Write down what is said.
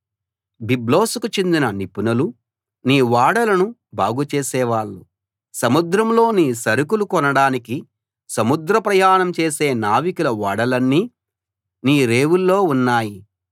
బిబ్లోసుకు చెందిన నిపుణులు నీ ఓడలను బాగుచేసేవాళ్ళు సముద్రంలో నీ సరకులు కొనడానికి సముద్ర ప్రయాణం చేసే నావికుల ఓడలన్నీ నీ రేవుల్లో ఉన్నాయి